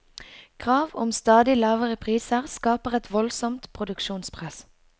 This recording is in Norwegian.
Krav om stadig lavere priser skaper et voldsomt produksjonspress.